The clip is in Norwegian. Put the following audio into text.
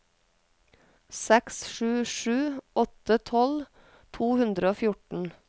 seks sju sju åtte tolv to hundre og fjorten